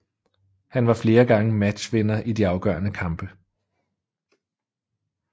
Han var flere gange matchvinder i de afgørende kampe